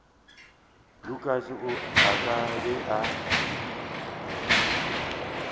lukas a ka be a